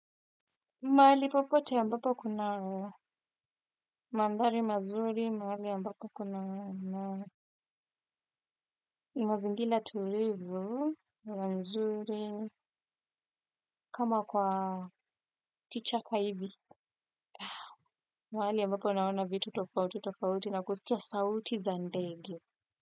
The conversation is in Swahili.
Mahali popote ambapo kuna mandhari mazuri, mahali ambapo kuna mazingira tulivu, mazuri, kama kwa kichaka hivi, mahali ambapo naona vitu tofauti tofauti na kusikia sauti za ndege.